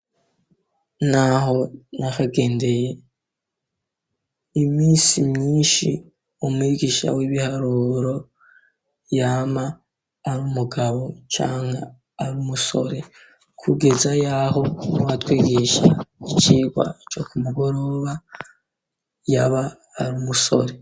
ntaho nakagendeye iminsi myinshi umwigisha w'ibiharuro yama ar'umugabo cangwe arumusore kugeza yaho nuwatwegisha icirwa co kumugoroba y'aba arumusore.